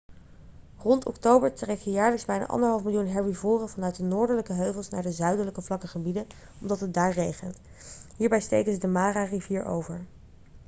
rond oktober trekken jaarlijks bijna 1,5 miljoen herbivoren vanuit de noordelijke heuvels naar de zuidelijke vlakke gebieden omdat het daar regent hierbij steken ze de mara-rivier over